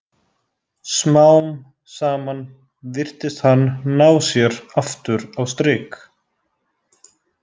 Smám saman virtist hann ná sér aftur á strik.